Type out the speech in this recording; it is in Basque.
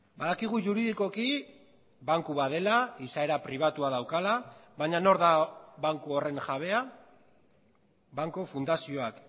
badakigu juridikoki banku bat dela izaera pribatua daukala baina nor da banku horren jabea banku fundazioak